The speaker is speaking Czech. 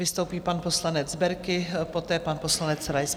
Vystoupí pan poslanec Berki, poté pan poslanec Rais.